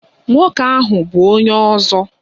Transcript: Nwoke a bu onye ozo.